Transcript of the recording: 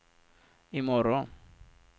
imorgon